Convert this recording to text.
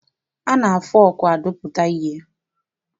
A na-fọọkụ adụta ihe.